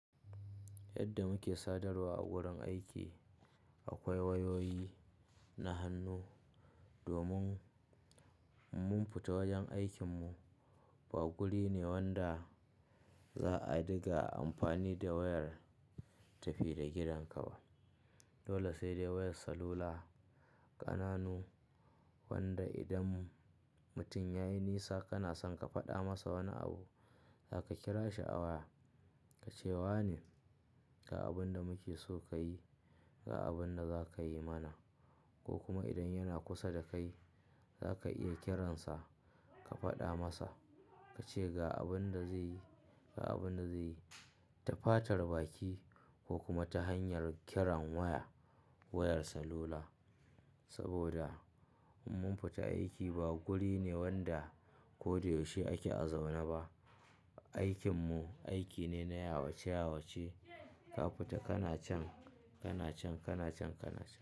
Yadda muke sadarwa a wurin aiki, akwai wayoyi na hannu domin In mun fita wajen aikin mu ba guri ne wanda za'a diga amfani da wayar tafi da gidanka ba. Dole sai dai wayar salula, ƙananu wanda idan mutum yayi nisa kanason ka faɗa masa wani abu, zaka kira shi a waya ka ce "wane, ga abun da muke so ka yi, ga abin da zakayi mana." Ko kuma idan yana kusa da kai, za ka iya kiransa ka faɗa masa, ka ce ga abin da zai yi, ga abin da zai yi. Ta fatar baki ko kuma ta hanyar kiran waya, wayar salula. Saboda mun fita aiki ba guri ne wanda koyaushe ake a zaune ba. Aikin mu aiki ne na yawace yawace. Ka fita kana can, kana can, kana can, kana can.